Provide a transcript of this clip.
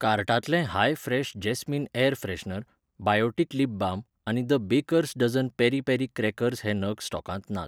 कार्टांतले high fresh jasmine air freshener , Biotique lip balm आनी the bakers dozen peri peri crackers हे नग स्टॉकांत नात.